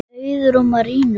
Auður og Marinó.